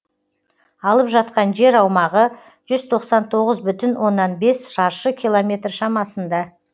алып жатқан жер аумағы жүз тоқсан тоғыз бүтін оннан бес шаршы километр шамасында